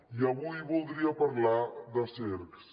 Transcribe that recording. i avui voldria parlar de cercs